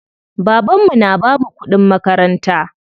Baban mu na bamu kuɗin makaranta.